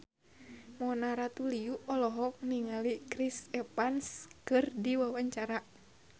Mona Ratuliu olohok ningali Chris Evans keur diwawancara